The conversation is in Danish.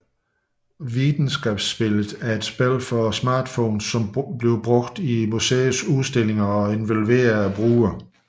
Vitenskapsspillet er et spil for smartphones som bruges i museets udstillinger og involverer brugeren